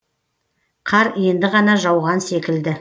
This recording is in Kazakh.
қар енді ғана жауған секілді